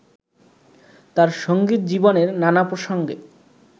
তাঁর সংগীত জীবনের নানা প্রসঙ্গে